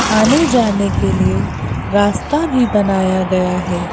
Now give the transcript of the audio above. आने जाने के लिए रास्ता भी बनाया गया है।